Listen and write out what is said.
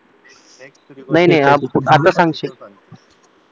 नाही नाही आता सांगशील